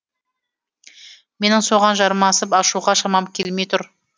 менің соған жармасып ашуға шамам келмей тұр